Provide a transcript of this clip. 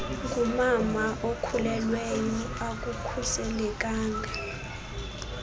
ngumama okhulelweyo akukhuselekanga